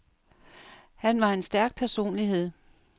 Han var en stærk personlighed.